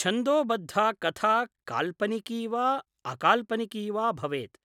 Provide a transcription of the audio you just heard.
छन्दोबद्धा कथा काल्पनिकी वा अकाल्पनिकी वा भवेत्,